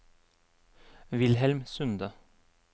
Wilhelm Sunde